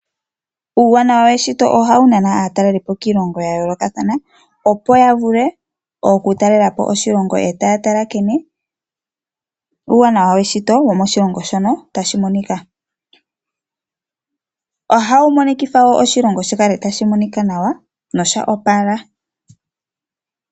Uuwanawa weshito ohawu nana aatalelipo kiilongo ya yoolokathana, opo ya vule okutalela po oshilongo yo taa tala nkene uuwanawa weshito womoshilongo shono tashi monika. Ohawu monikitha wo oshilongo shi kale tashi monika nawa nosha opala.